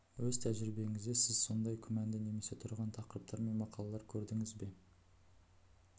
өз тәжірибеңізде сіз осындай күмәнді немесе тұрған тақырыптар мен мақалалар көрдіңіз бе